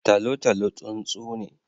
Tolotolo tsuntsu ne.